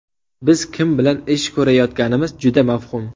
Biz kim bilan ish ko‘rayotganimiz juda mavhum.